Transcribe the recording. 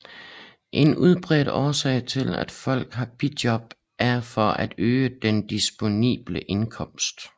En udbredt årsag til at folk har bijob er for at øge den disponible indkomst